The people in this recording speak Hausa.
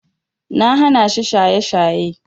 Na hanashi shaye-shaye.